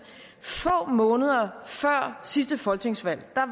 få måneder før sidste folketingsvalg var